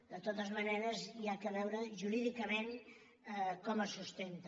de totes maneres s’ha de veure jurídicament com es sustenta